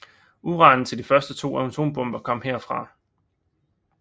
Uranen til de første to atombomber kom herfra